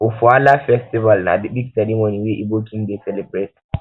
ofoala festival um na big ceremony wey igbo king dey celebrate